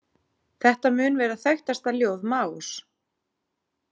Þetta mun vera þekktasta ljóð Maós.